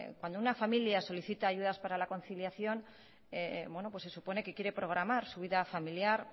cuando una familia solicita ayudas para la conciliación se supone que quiere programar su vida familiar